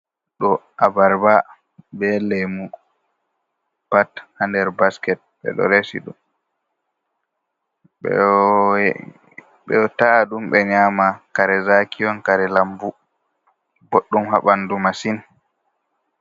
Ɗo abarba be lemu, pat ha nder basket ɓe ɗo resi ɗum. Ɓe ta'a ɗum ɓe nyama, kare zaki on, kare lambu, boɗɗum ha ɓandu masin.